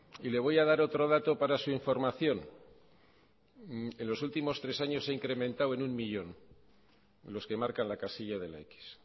y le voy a dar otro dato para su información en los últimos tres años se ha incrementado en uno millón en los que marcan la casilla de la x